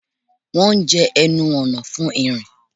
Wọ́n jẹ́ ẹnu ọ̀nà fún ìrìn